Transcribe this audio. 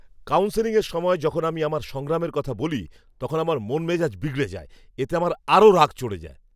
কাউন্সেলিংয়ের সময় যখন আমি আমার সংগ্রামের কথা বলি, তখন আমার মন মেজাজ বিগড়ে যায়। এতে আমার আরও রাগ চড়ে যায়।